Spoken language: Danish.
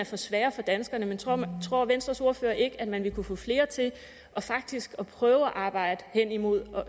for svære for danskerne men tror tror venstres ordfører ikke at man vil kunne få flere til faktisk at prøve at arbejde hen imod